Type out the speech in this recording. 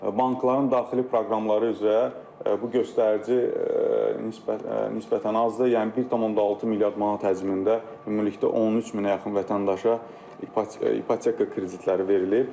Bankların daxili proqramları üzrə bu göstərici nisbətən azdır, yəni 1.6 milyard manat həcmində ümumilikdə 13 minə yaxın vətəndaşa ipoteka kreditləri verilib.